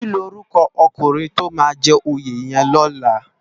Kilórúkò òkúrin tó má jè óyé yèn lòlá?